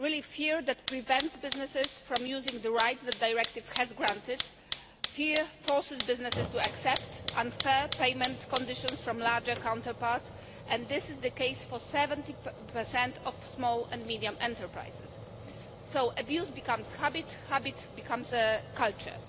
affecting smaller businesses fear that prevents businesses from using the rights the Directive has granted. Fear forces businesses to accept unfair payment conditions from larger counterparts and this is the case for 70 of small and medium enterprises. So, abuse becomes habit,